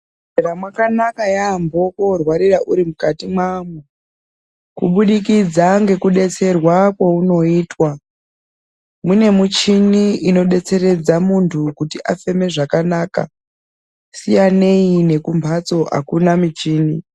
Muzvibhedhlera mwakanaka yaambo kuti worwarira uri mukatimwo kubudikidza ngekudetserwa kwounoitwa mune muchini inodetseredza muntu kuti afeme zvakanaka siyanei nekumhatso akuna muchini.